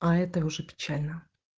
а это уже печально